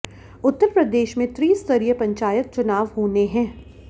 उत्तर प्रदेश में त्रिस्तरीय पंचायत चुनाव होने है